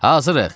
Hazırıq!